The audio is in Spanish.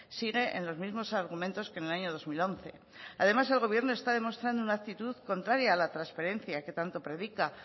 sigue en los mismos argumentos que en el año dos mil once además el gobierno está demostrando una actitud contraria a la transferencia que tanto predica